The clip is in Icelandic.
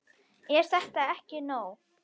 Er þetta ekki orðið nóg?